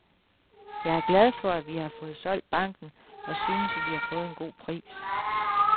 Jeg er glad for, at vi har fået solgt banken og synes, at vi har fået en god pris.